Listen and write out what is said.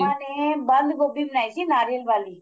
ਅੰਮਾ ਨੇ ਬੰਦ ਗੋਭੀ ਬਣਾਈ ਸੀ ਨਾਰੀਅਲ ਵਾਲੀ